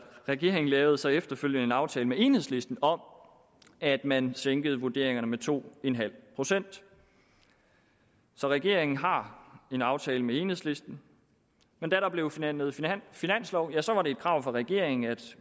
regeringen lavede så efterfølgende en aftale med enhedslisten om at man sænkede vurderingerne med to en halv procent så regeringen har en aftale med enhedslisten men da der blev forhandlet finanslov var det et krav fra regeringen at